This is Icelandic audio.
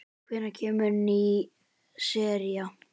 Hvenær kemur ný sería?